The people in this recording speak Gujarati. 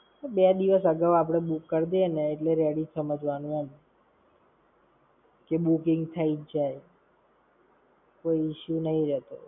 અરે બે દિવસ અગાઉ આપણે book કરી દઈએ ને એટલે ready જ સમઝવાનું એમ. પછી booking થઇ જ જાય. કોઈ issue નઈ રેતો.